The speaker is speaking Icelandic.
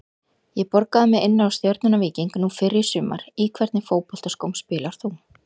ég borgaði mig inná stjörnuna- víking nú fyrr í sumar Í hvernig fótboltaskóm spilar þú?